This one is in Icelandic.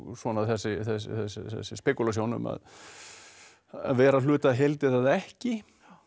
svona þessi spekúlasjón að vera hluti af heild eða ekki